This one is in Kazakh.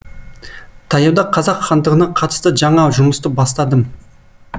таяуда қазақ хандығына қатысты жаңа жұмысты бастадым